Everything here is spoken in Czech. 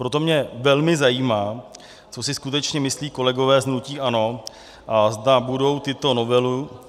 Proto mě velmi zajímá, co si skutečně myslí kolegové z hnutí ANO a zda budou